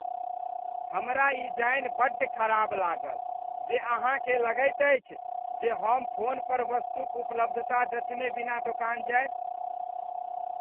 हमरा ई जानि बड्ड खराब लागल जे अहाँकेँ लगैत अछि जे हम फोन पर वस्तुक उपलब्धता जँचने बिना दोकान जायब।